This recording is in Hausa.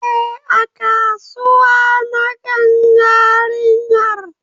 Eh, A kasuwa na gan yarinyar